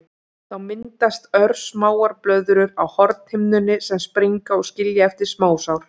Þá myndast örsmáar blöðrur á hornhimnunni sem springa og skilja eftir smásár.